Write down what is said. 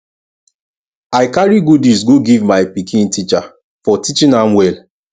i carry goodies go give my pikin teacher for teaching am well